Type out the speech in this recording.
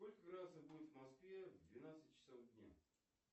сколько градусов будет в москве в двенадцать часов дня